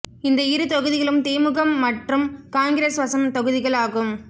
இந்த இரு தொகுதிகளும் திமுகம் மற்றும் காங்கிரஸ் வசம் தொகுதிகள் ஆகும்